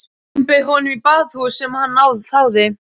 Jón bauð honum í baðhús sem hann þáði.